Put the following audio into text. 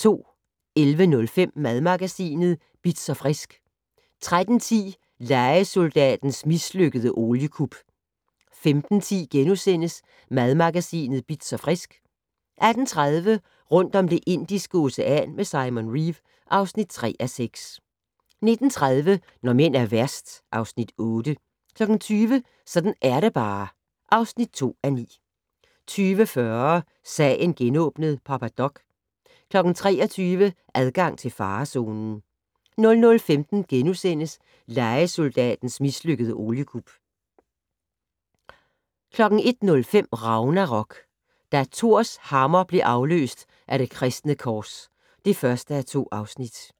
11:05: Madmagasinet Bitz & Frisk 13:10: Lejesoldatens mislykkede oliekup 15:10: Madmagasinet Bitz & Frisk * 18:30: Rundt om Det Indiske Ocean med Simon Reeve (3:6) 19:30: Når mænd er værst (Afs. 8) 20:00: Sådan er det bare (2:9) 20:40: Sagen genåbnet: Papa Doc 23:00: Adgang til farezonen 00:15: Lejesoldatens mislykkede oliekup * 01:05: Ragnarok: Da Thors hammer blev afløst af det kristne kors (1:2)